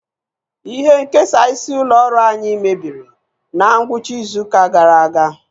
Ihe nkesa isi ụlọ ọrụ anyị mebiri na ngwụcha izu ụka gara aga.